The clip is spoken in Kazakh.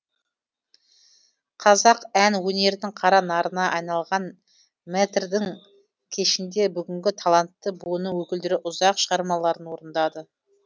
қазақ ән өнерінің қара нарына айналған мэтрдің кешінде бүгінгі талантты буынның өкілдері үзақ шығармаларын орындады